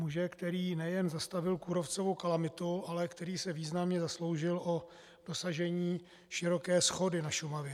Muže, který nejen zastavil kůrovcovou kalamitu, ale který se významně zasloužil o dosažení široké shody na Šumavě.